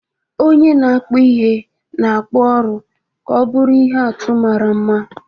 Onye na-akpụ ihe na-akpụ ụrọ ka ọ bụrụ ihe atụ mara mma.